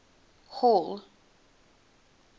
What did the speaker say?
hall